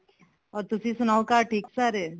ਹੋਰ ਤੁਸੀਂ ਸਨਾਉ ਘਰ ਠੀਕ ਸਾਰੇ